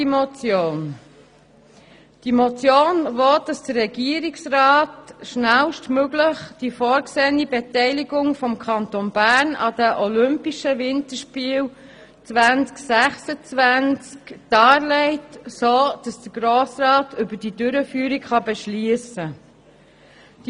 Die Motion will, dass der Regierungsrat schnellstmöglich die vorgesehene Beteiligung des Kantons Bern an den olympischen Winterspielen 2026 darlegt, sodass der Grosse Rat über die Durchführung beschliessen kann.